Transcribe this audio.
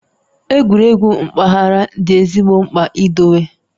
Egwuregwu mpaghara dị ezigbo mkpa idowe